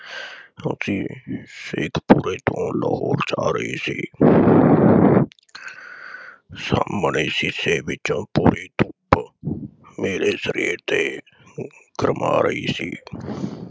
ਅਸੀ ਸ਼ੇਖਪੁਰੇ ਤੋਂ ਲਾਹੌਰ ਦੇ ਰਹੇ ਸੀ ਸਾਹਮਣੇ ਸ਼ੀਸ਼ੇ ਵਿਚੋਂ ਪਈ ਧੁੱਪ ਮੇਰੇ ਸਰੀਰ ਤੇ ਗਰਮਾ ਰਹੀ ਸੀ।